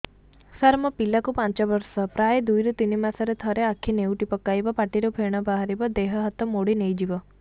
ସାର ମୋ ପିଲା କୁ ପାଞ୍ଚ ବର୍ଷ ପ୍ରାୟ ଦୁଇରୁ ତିନି ମାସ ରେ ଥରେ ଆଖି ନେଉଟି ପକାଇବ ପାଟିରୁ ଫେଣ ବାହାରିବ ଦେହ ହାତ ମୋଡି ନେଇଯିବ